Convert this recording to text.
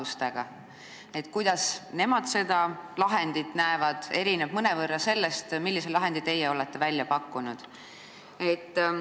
See, kuidas nemad asju näevad, erineb mõnevõrra sellest, millise lahendi teie olete välja pakkunud.